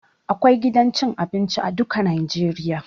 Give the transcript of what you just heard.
Akwai gidan cin abinci a duka najeriya